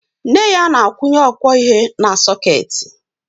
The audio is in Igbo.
Nne ya na-akwụnye ọkwọihe na sọkeetị